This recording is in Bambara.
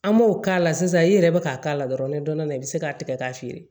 An m'o k'a la sisan i yɛrɛ be ka k'a la dɔrɔn i bi se k'a tigɛ k'a feere